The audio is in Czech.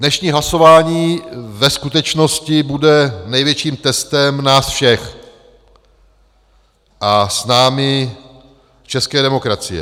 Dnešní hlasování ve skutečnosti bude největším testem nás všech a s námi české demokracie.